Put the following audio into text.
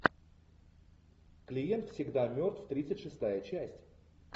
клиент всегда мертв тридцать шестая часть